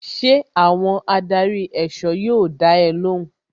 Ṣé àwọn adarí èsọ́ yóò dá ẹ lóhùn?